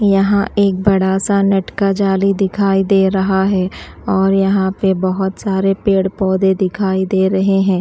यहां एक बड़ा सा नेट का जाली दिखाई दे रहा है और यहां पे बोहोत सारे पेड़-पौधे दिखाई दे रहे हैं।